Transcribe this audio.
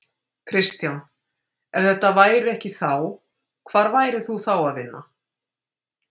Kristján: Ef þetta væri ekki þá, hvar værir þú þá að vinna?